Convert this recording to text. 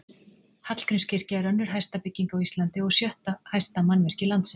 Hallgrímskirkja er önnur hæsta bygging á Íslandi og sjötta hæsta mannvirki landsins.